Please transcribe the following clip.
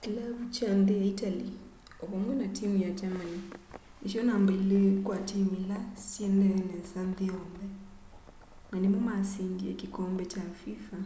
kilavu kya nthi ya itali o vamwe na timu ya germany nisyo namba ili kwa timu ila siendee nesa nthi yonthe na nimo masindie kikombe kya fifa